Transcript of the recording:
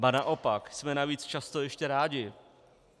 Ba naopak, jsme navíc často ještě rádi.